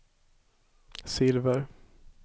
silver